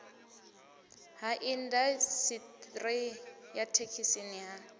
ha indasiṱeri ya dzithekhisi ha